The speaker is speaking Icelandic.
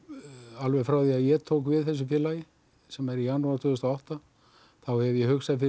alveg frá því að ég tók við þessu félagi sem er í janúar tvö þúsund og átta þá hef ég hugsað fyrir